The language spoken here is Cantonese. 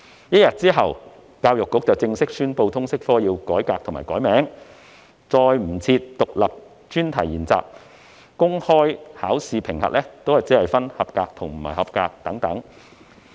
一天之後，教育局正式宣布通識科要改革及重新冠名，不再設有獨立專題研習，公開考試評級亦只設"及格"及"不及格"等。